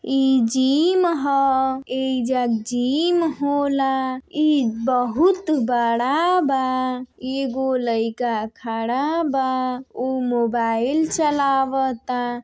ई जिम ह। ऐइजा जिम होला। ई बहोत बड़ा बा। एगो लईका खड़ा बा। ऊ मोबाइल चलावता।